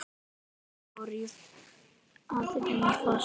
Þau fóru að rífast!